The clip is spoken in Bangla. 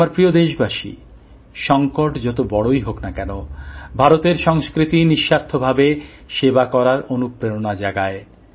আমার প্রিয় দেশবাসী সংকট যত বড়ই হোক না কেন ভারতের সংস্কৃতি নিঃস্বার্থভাবে সেবা করার অনুপ্রেরণা জাগায়